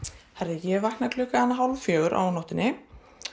ég vakna klukkan hálf fjögur á nóttunni